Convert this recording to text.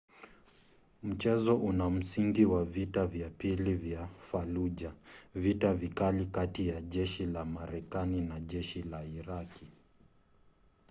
mchezo una msingi wa vita vya pili vya fallujah vita vikali kati ya jeshi la marekani na jeshi la iraqi